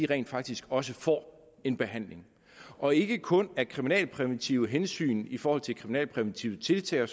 rent faktisk også får en behandling og ikke kun af kriminalpræventive hensyn i forhold til kriminalpræventive tiltag og